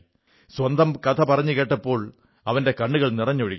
സ്വന്തം കഥ പറഞ്ഞു കേൾപ്പിച്ചപ്പോൾ അവന്റെ കണ്ണുകൾ നിറഞ്ഞൊഴുകി